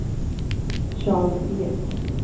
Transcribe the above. Charles Ek